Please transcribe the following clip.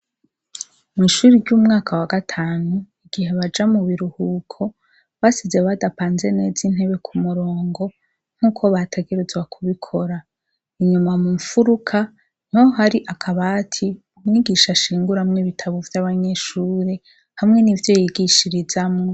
Mw' ishuri ry'umwaka wa gatanu, igihe baja mu biruhuko basize badapanze neza intebe ku murongo nk'uko bategerezwa kubikora. Inyuma mu mfuruka niho hari akabati umwigisha ashinguramwo ibitabo vy'abanyeshure, hamwe n'ivyo yigishirizamwo.